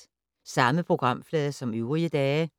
Samme programflade som øvrige dage